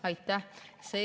Aitäh!